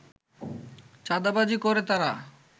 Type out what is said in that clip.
চাঁদাবাজি করে তারা